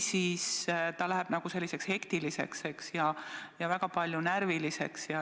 Siis läheb õppimine selliseks hektiliseks ja väga palju närviliseks.